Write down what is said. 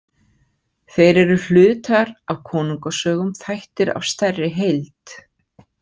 Þeir eru hlutar af konungasögum, þættir af stærri heild.